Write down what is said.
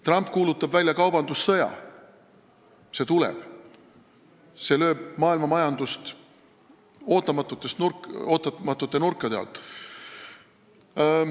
Trump kuulutab välja kaubandussõja, see tuleb, see lööb maailmamajandust ootamatute nurkade alt.